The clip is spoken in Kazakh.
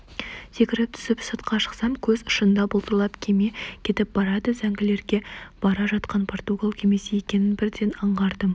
секіріп түсіп сыртқа шықсам көз ұшында бұлдырап кеме кетіп барады зәңгілерге бара жатқан португал кемесі екенін бірден аңғардым